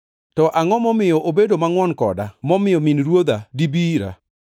To angʼo momiyo obedo mangʼwon koda momiyo min Ruodha dibi ira?